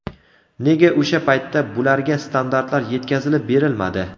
Nega o‘sha paytda bularga standartlar yetkazilib berilmadi?